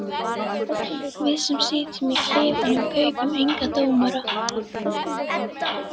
Við sem sitjum í klefunum kaupum enga dóma.